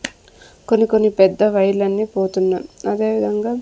కొన్ని కొన్ని పెద్ద వైర్లన్నీ పోతున్న అదే విధంగా--